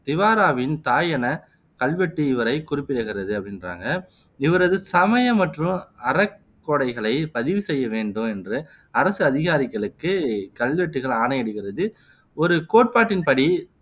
திவாராவின் தாய் என கல்வெட்டு இவரை குறிப்பிடுகிறது அப்படின்றாங்க இவரது சமய மற்றும் அறக் கொடைகளை பதிவு செய்ய வேண்டும் என்று அரசு அதிகாரிகளுக்கு இக்கல்வெட்டுகள் ஆணையிடுகிறது ஒரு கோட்பாட்டின் படி